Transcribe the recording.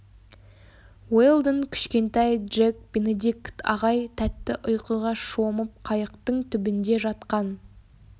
уэлдон кішкентай джек бенедикт ағай тәтті ұйқыға шомып қайықтың түбінде жатқан